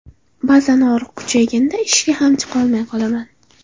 Ba’zan og‘riq kuchayganda ishga ham chiqolmay qolaman.